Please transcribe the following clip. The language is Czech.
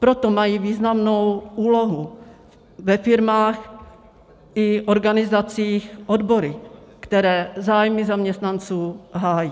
Proto mají významnou úlohu ve firmách i organizacích odbory, které zájmy zaměstnanců hájí.